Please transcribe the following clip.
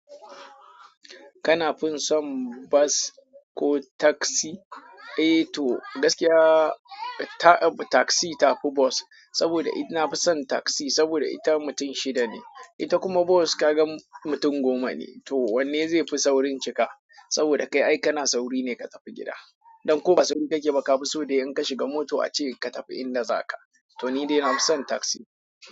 Kana fin son bas ko taksi. Eh to gaskiya ta, taksi tafi bus. Saboda it nafi son taksi saboda ita mutum shida ne, ita kuma bus kaga mutum goma ne. To wanne zai fi saurin cika? Saboda kai ai kana sauri ne ka tafi gida. Don ko ba sauri kake ba ka fi so dai in ka shiga moto ace ka tafi inda zaka. To ni dai na fi son taksi.